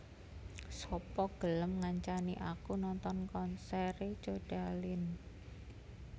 Sapa gelem ngancani aku nonton konsere Codaline